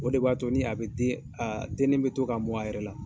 O de b'a to nin a bɛ den, a dennen bɛ to ka mɔn a yɛrɛ la